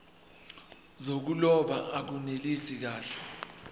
zokuloba akunelisi kahle